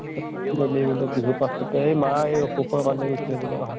তো বিহুৰ পাছতে এই মা এই অসুখ্ৰ কাৰণে গুছি যাব লগা হʼল